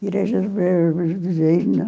Igreja do Verbo Divino.